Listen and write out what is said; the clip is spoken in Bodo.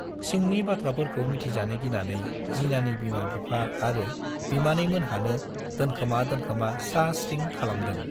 सिंनि बाथ्राफोरखौ मोनथिजानो गिनानै जिनानि बिमा बिफा आरो बिमानैमोनहानो दोनखोमा दोनखोमा स्रा स्रिं खालामदों।